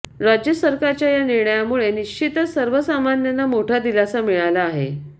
राज्य सरकारच्या या निर्णयामुळे निश्चितच सर्वसामान्यांना मोठा दिलासा मिळाला आहे